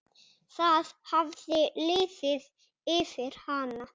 Það hafði liðið yfir hana!